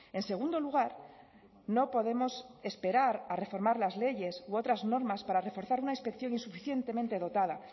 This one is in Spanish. en segundo lugar no podemos esperar a reformar las leyes u otras normas para reforzar una inspección insuficientemente dotada